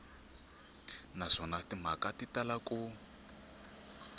naswona timhaka ti tala ku